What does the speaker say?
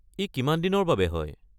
ই কিমান দিনৰ বাবে হয়?